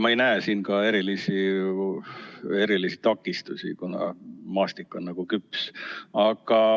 Ma ei näe siin erilisi takistusi, kuna maastik on nagu küps.